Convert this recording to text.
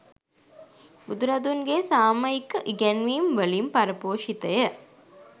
බුදුරදුන්ගේ සාමයික ඉගැන්වීම් වලින් පරපෝෂිතය.